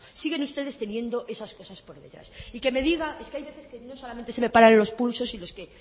siguen ustedes teniendo esas cosas por detrás es que hay veces que no solamente se me paran los pulsos si no es que